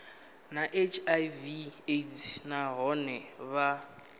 na hiv aids nahone vha